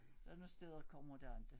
Sådan nogen steder kommer der aldrig